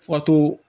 Fatɔ